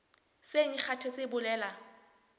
seng e kgathetse e bolela